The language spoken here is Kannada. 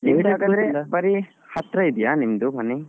ಬರಿ ಹತ್ರ ಇದೆಯಾ ನಿಮ್ಮದು ಮನೆ?